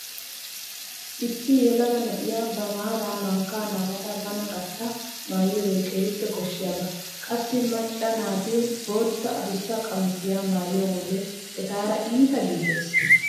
Issi yelaga na'iya ba maaraa mankka naagada bana gatta maayiyogee keehi koshshiyaba. Qassi macca naati bootta adussa qamisiya maayiyo wode etaara iita giigees.